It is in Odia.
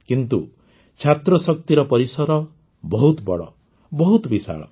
କିନ୍ତୁ ଛାତ୍ରଶକ୍ତିର ପରିସର ବହୁତ ବଡ଼ ବହୁତ ବିଶାଳ